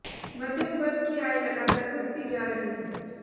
मध्यम वर्ग की आय लगातार घटती जा रही है